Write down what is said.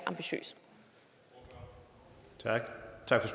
ambitiøs lad